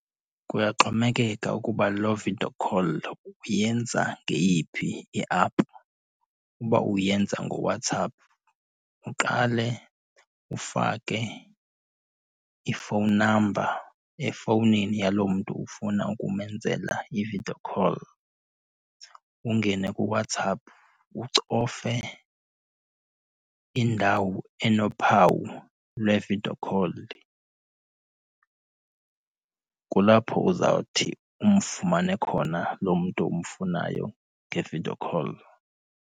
Kuyaxhomekeka ukuba loo video call uyenza ngeyiphi iaphu. Uba uyenza ngoWhatsApp, uqale ufake i-phone number efowunini yaloo mntu ufuna ukumenzela i-video call, ungene kuWhatsApp ucofe indawo enophawu lwe-video call. Kulapho uzawuthi umfumane khona loo mntu umfunayo nge-video call.